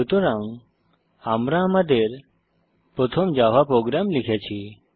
সুতরাং আমরা আমাদের প্রথম জাভা প্রোগ্রাম লিখেছি